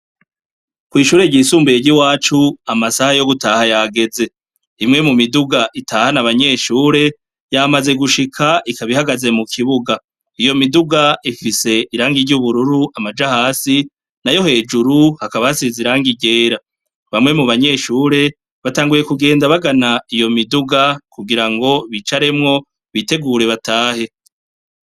Kw'ishire ryisumbuye ry'iwacu, amasaha yo gutaha yageze. Imwe mu miduga itahana abanyeshure, yamaze gushika ikaba ihagaze mu kibuga. Iyo miduga ifise irangi ry'ubururu amaja hasi, nayo hejuru hakaba harize irangi ryera. Bamwe mu banyeshure, batanguye kugenda bagana iyo miduga, kugira ngo bicaremwo bitegure batahe.